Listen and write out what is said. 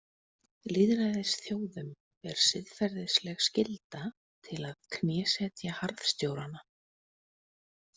Lýðræðisþjóðum ber siðferðisleg skylda til að knésetja harðstjórana.